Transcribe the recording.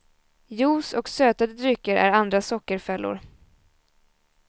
Juice och sötade drycker är andra sockerfällor.